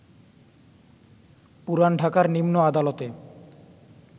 পুরান ঢাকার নিম্ন আদালতে